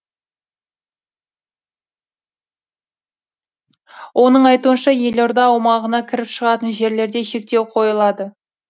оның айтуынша елорда аумағына кіріп шығатын жерлерде шектеу қойылады